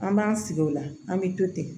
An b'an sigi o la an bɛ to ten